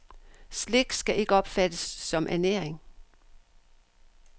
Slik skal ikke opfattes som ernæring.